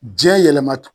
Diɲɛ yɛlɛma t